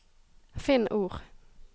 Finn ord